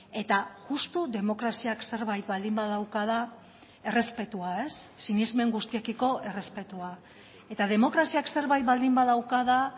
eta justu demokraziak zerbait baldin badauka da errespetua sinesmen guztiekiko errespetua eta demokraziak zerbait baldin badauka da